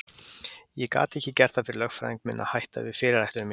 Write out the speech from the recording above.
Ég gat ekki gert það fyrir lögfræðing minn að hætta við fyrirætlun mína.